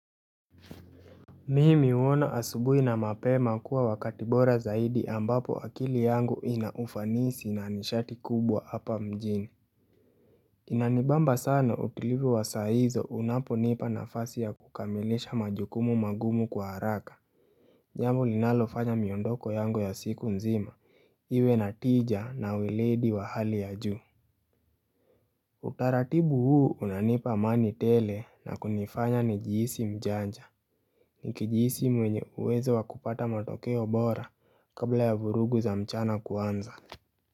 Mimi huona asubui na mapema kuwa wakati bora zaidi ambapo akili yangu inaufanisi na nishati kubwa hapa mjini inanibamba sana utilipi wa saizo unapo nipa nafasi ya kukamilisha majukumu magumu kwa haraka jambo linalofanya miondoko yangu ya siku nzima, iwe na tija na wiledi wa hali ya juu Utaratibu huu unanipa amani tele na kunifanya nijiisi mjanja Nikijisi mwenye uwezo wa kupata matokeo bora kabla ya vurugu za mchana kuanza.